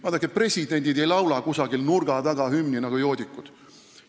Vaadake, presidendid ei laula kusagil nurga taga hümni nagu joodikud.